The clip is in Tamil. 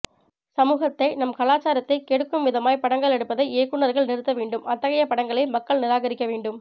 சமூகத்தை நம் கலாச்சாரத்தை கெடுக்கும் விதமாய் படங்கள் எடுப்பதை இயக்குனர்கள் நிறுத்தவேண்டும் அத்தகைய படங்களை மக்கள் நிராகரிக்க வேண்டும்